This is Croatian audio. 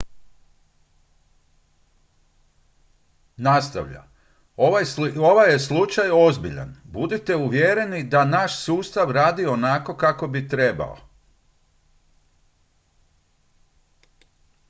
"nastavlja: "ovaj je slučaj ozbiljan. budite uvjereni da naš sustav radi onako kako bi trebao.